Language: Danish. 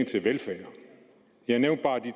til velfærd jeg nævnte bare det